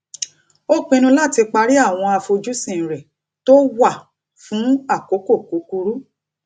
ó pinnu láti parí àwọn àfojúsìn rẹ tó wà fún àkókò kúkurú